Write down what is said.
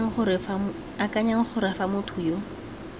akanyang gore fa motho yo